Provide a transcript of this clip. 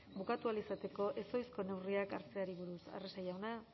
bukatu ahal izateko ezohiko neurriak hartzeari buruz arrese jauna